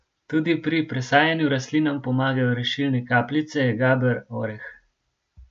Tudi pri presajanju rastlinam pomagajo rešilne kapljice, gaber, oreh ...